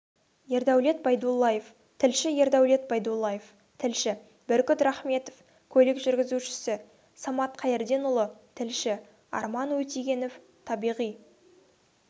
ердәулет байдуллаев тілші ердәулет байдуллаев тілші бүркіт рахметов көлік жүргізушісі самат қайырденұлы тілші арман өтегенов табиғи